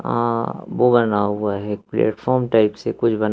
अ वो बना हुआ है एक प्लेटफार्म टाइप से कुछ बना--